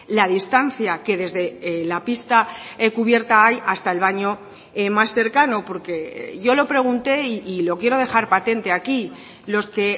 la distancia que desde la pista cubierta hay hasta el baño más cercano porque yo lo pregunte y lo quiero dejar patente aquí los que